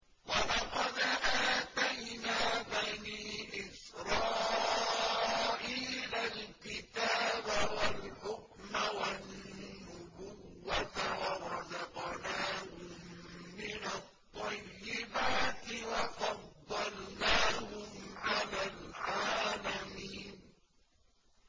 وَلَقَدْ آتَيْنَا بَنِي إِسْرَائِيلَ الْكِتَابَ وَالْحُكْمَ وَالنُّبُوَّةَ وَرَزَقْنَاهُم مِّنَ الطَّيِّبَاتِ وَفَضَّلْنَاهُمْ عَلَى الْعَالَمِينَ